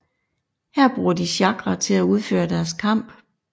Her bruger de chakra til at udføre deres kamp